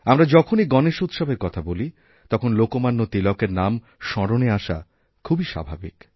আমরা যখনই গণেশ উৎসবের কথা বলি তখন লোকমান্য তিলকের নাম স্মরণে আসা খুবইস্বাভাবিক